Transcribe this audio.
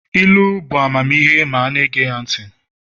ilu bụ amamihe ma a na-ege ntị